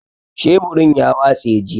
Sheburin ya watse jiya.